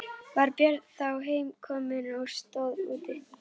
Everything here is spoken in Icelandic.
Var Björn þá heim kominn og stóð úti.